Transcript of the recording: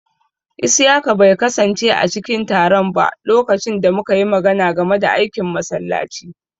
Isiyaka bai kasance a cikin taron ba lokacin da muka yi magana game da aikin masallaci.